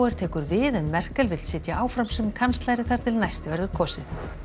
tekur við en Merkel vill sitja áfram sem kanslari þar til næst verður kosið